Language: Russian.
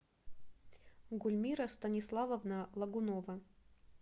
гульмира станиславовна лагунова